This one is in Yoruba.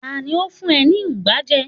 ta ni o fun e ni ugba je